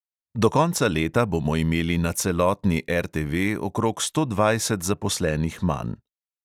Do konca leta bomo imeli na celotni RTV okrog sto dvajset zaposlenih manj.